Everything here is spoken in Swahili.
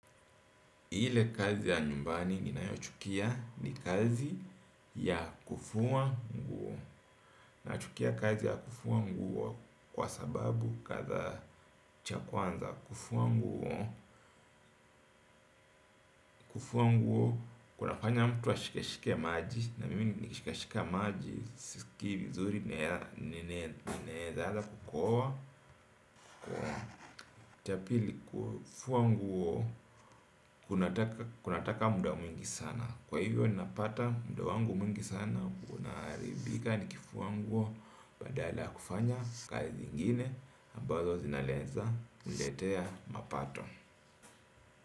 Ile kazi ya nyumbani ninayochukia ni kazi ya kufua nguo. Nachukia kazi ya kufua nguo kwa sababu kadhaa cha kwanza kufua nguo. Kufua nguo kunafanya mtu ashikeshike maji na mimi nikishikashika maji sisikii vizuri naweza anza kukohoa. Cha pili kufua nguo kunataka muda mwingi sana kwa hivyo ninapata muda wangu mwingi sana unaharibika nikifua nguo badala ya kufanya kazi ingine ambazo zinaweza kuletea mapato.